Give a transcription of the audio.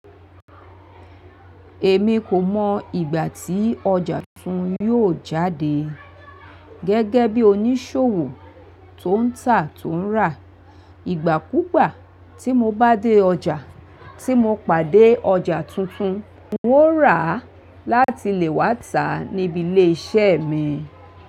Èmi kò mọ ìgbà tí ọjà tuntun yóò jáde gẹ́gẹ́ bí oníṣòwò tó ń tà tó ń rà. Ìgbà kúgbà tí mo bá dé ọjà tí mo pàdé ọjà tuntun, un ó rà á láti lè wá tà níbi ilé-iṣẹ́ mi.